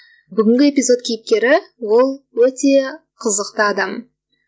бүгінгі эпизод кейіпкері ол өте қызықты адам